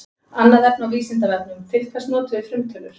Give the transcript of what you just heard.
Annað efni á Vísindavefnum: Til hvers notum við frumtölur?